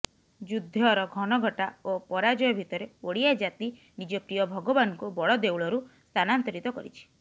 ଯୁଦ୍ଧର ଘନଘଟା ଓ ପରାଜୟ ଭିତରେ ଓଡ଼ିଆ ଜାତି ନିଜ ପ୍ରିୟ ଭଗବାନଙ୍କୁ ବଡଦେଉଳରୁ ସ୍ଥାନାନ୍ତରିତ କରିଛି